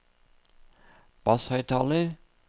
basshøyttaler